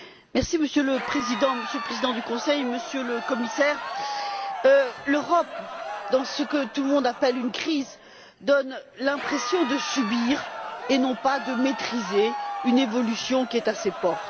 Monsieur le Président, Monsieur le Président du Conseil, Monsieur le Commissaire, l'Europe dans ce que tout le monde appelle une crise donne l'impression de subir et non pas de maîtriser une évolution qui est à ses portes.